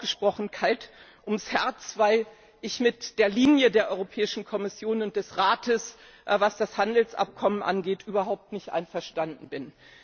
Mir ist ausgesprochen kalt ums Herz, weil ich mit der Linie der Europäischen Kommission und des Rates, was das Handelsabkommen angeht, überhaupt nicht einverstanden bin.